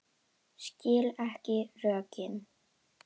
Skil ekki rökin.